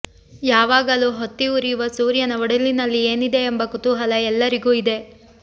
ಯಾವಾಗಲೂ ಹೊತ್ತಿ ಉರಿಯುವ ಸೂರ್ಯನ ಒಡಲಿನಲ್ಲಿ ಏನಿದೆ ಎಂಬ ಕುತೂಹಲ ಎಲ್ಲರಿಗೂ ಇದೆ